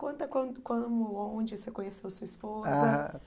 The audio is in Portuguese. Conta quan como onde você conheceu sua esposa. Ah